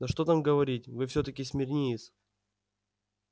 да что там говорить вы всё-таки смирниец